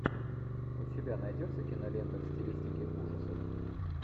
у тебя найдется кинолента в стилистике ужасы